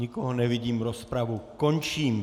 Nikoho nevidím, rozpravu končím.